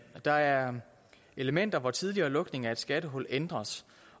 der er elementer hvor tidligere lukning af et skattehul ændres